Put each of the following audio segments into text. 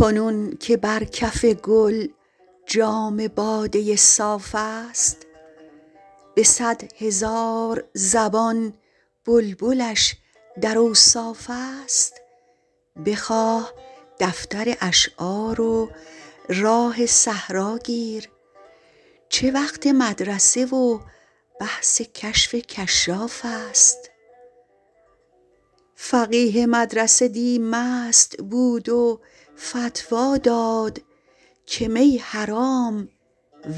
کنون که بر کف گل جام باده صاف است به صد هزار زبان بلبلش در اوصاف است بخواه دفتر اشعار و راه صحرا گیر چه وقت مدرسه و بحث کشف کشاف است فقیه مدرسه دی مست بود و فتوی داد که می حرام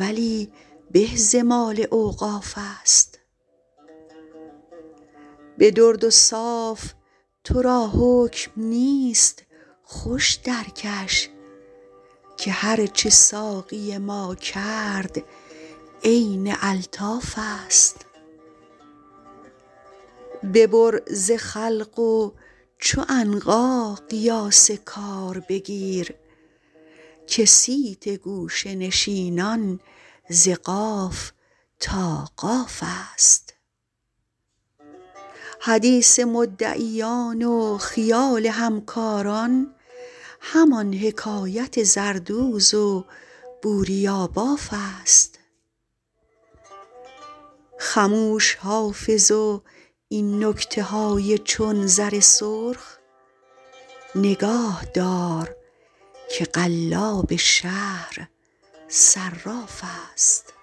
ولی به ز مال اوقاف است به درد و صاف تو را حکم نیست خوش درکش که هرچه ساقی ما کرد عین الطاف است ببر ز خلق و چو عنقا قیاس کار بگیر که صیت گوشه نشینان ز قاف تا قاف است حدیث مدعیان و خیال همکاران همان حکایت زردوز و بوریاباف است خموش حافظ و این نکته های چون زر سرخ نگاه دار که قلاب شهر صراف است